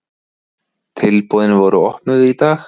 Tilboðin voru opnuð í dag.